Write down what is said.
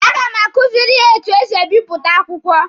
A ga m akuziri ya etu esi ebipụta akwụkwọ.